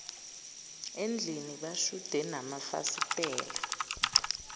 ezindlini bashude namafasitela